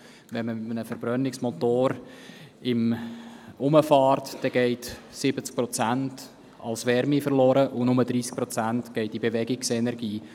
Wenn man mit einem Verbrennungsmotor herumfährt, gehen 70 Prozent als Wärme verloren, und nur 30 Prozent verwandeln sich in Bewegungsenergie.